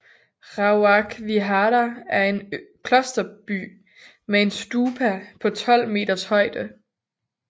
Rawak Vihara var en klosterby med en stupa på 12 meters højde